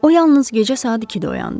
O yalnız gecə saat ikidə oyandı.